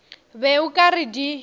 be o ka re di